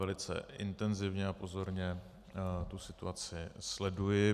Velice intenzivně a pozorně tu situaci sleduji.